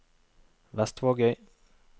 Vestvågøy